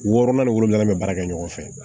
Wɔɔrɔnan ni wolonwula bɛ baara kɛ ɲɔgɔn fɛ